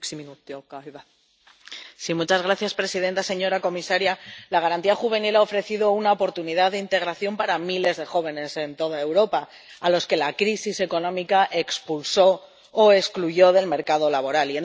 Señora presidenta, señora comisaria, la Garantía Juvenil ha ofrecido una oportunidad de integración a miles de jóvenes en toda Europa a los que la crisis económica expulsó o excluyó del mercado laboral.